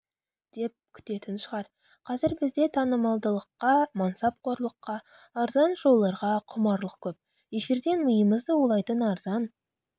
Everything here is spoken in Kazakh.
деп күтетін шығар қазір бізде танымалдылыққа мансапқорлыққа арзан шоуларға құмарлық көп эфирден миымызды улайтын арзан